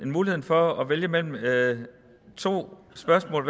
muligheden for at vælge mellem to spørgsmål